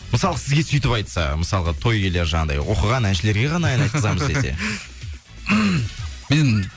мысалы сізге сөйтіп айтса мысалға той иелері жаңағындай оқыған әншілерге ғана ән айтқызамыз десе мен